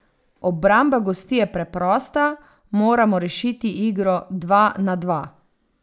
Obramba gostij je preprosta, moramo rešiti igro dva na dva.